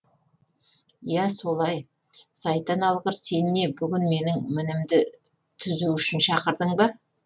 иә солай сайтан алғыр сен не бүгін менің мінімді тізу үшін шақырдың ба